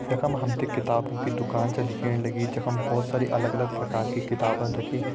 यखम हमते किताबो की दुकान छ दिखेण लगीं जखम बहोत सारी अलग अलग प्रकार की किताबन रखी --